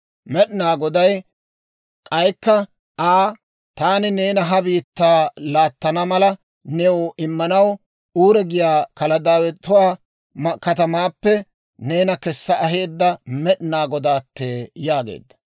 Med'inaa Goday k'aykka Aa, «Taani neeni ha biittaa laattana mala new immanaw Uuri giyaa Kaladaawetuwaa katamaappe neena kessa aheedda Med'inaa Godaattee» yaageedda.